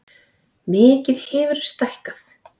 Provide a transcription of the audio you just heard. Mikið hefurðu stækkað.